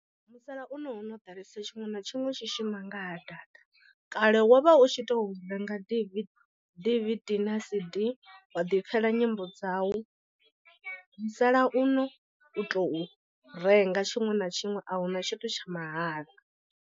Musalauno hono ḓalesa tshiṅwe na tshiṅwe tshi shuma nga data kale wo vha u tshi to renga D_V_D na C_D wa ḓi pfhela nyimbo dzau musalauno u tou renga tshiṅwe na tshiṅwe a huna tshithu tsha mahala.